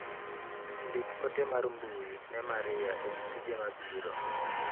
Ndik ote mar mbui ne Maria ewi tije mabiro.